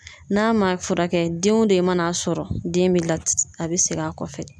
N'a ma furakɛ den o den mana sɔrɔ den be lat a be segin a kɔfɛ